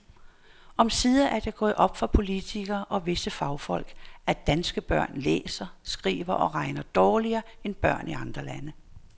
Omsider er det gået op for politikere og visse fagfolk, at danske børn læser, skriver og regner dårligere end børn i andre lande.